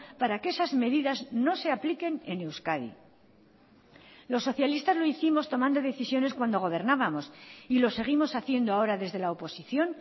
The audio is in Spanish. para que esas medidas no se apliquen en euskadi los socialistas lo hicimos tomando decisiones cuando gobernábamos y lo seguimos haciendo ahora desde la oposición